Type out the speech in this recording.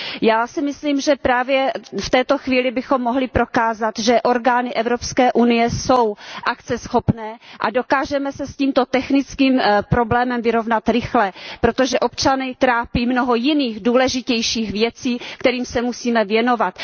Já si myslím, že právě v této chvíli bychom mohli prokázat, že orgány Evropské unie jsou akceschopné a dokážeme se s tímto technickým problémem vyrovnat rychle, protože občany trápí mnoho jiných, důležitějších věcí, kterým se musíme věnovat.